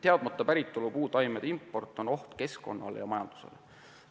Teadmata päritolu puutaimede import on oht keskkonnale ja majandusele.